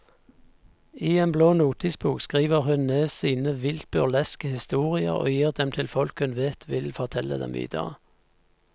I en blå notisbok skriver hun ned sine vilt burleske historier og gir dem til folk hun vet vil fortelle dem videre.